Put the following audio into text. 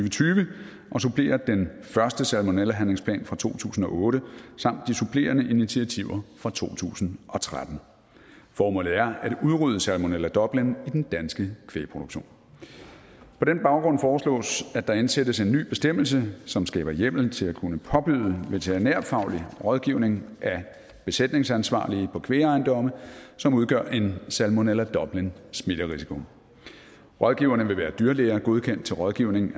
og tyve og supplerer den første salmonellahandlingsplan fra to tusind og otte samt de supplerende initiativer fra to tusind og tretten formålet er at udrydde salmonella dublin i den danske kvægproduktion på den baggrund foreslås at der indsættes en ny bestemmelse som skaber hjemmel til at kunne påbyde veterinærfaglig rådgivning af besætningsansvarlige på kvægejendomme som udgør en salmonella dublin smitterisiko rådgiverne vil være dyrlæger er godkendt til rådgivning